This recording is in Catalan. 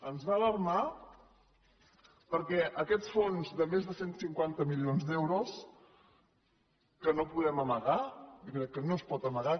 ens va alarmar perquè aquests fons de més de cent i cinquanta milions d’euros que no ho podem amagar jo crec que no es pot amagar